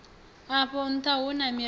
afho ntha hu na mirero